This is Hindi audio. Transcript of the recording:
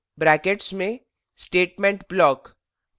do brackets में statement block